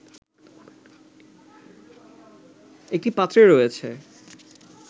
একটি পাত্রে রয়েছে